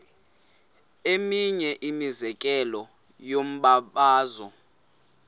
eminye imizekelo yombabazo